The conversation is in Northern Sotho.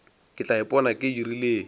ke tla ipona ke dirileng